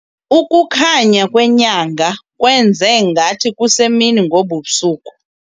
Ukukhanya kwenyanga kwenze ngathi kusemini ngobu busuku.